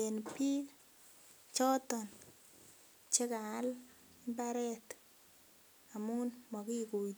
en biik choton chekaal mbaret amun mokituitos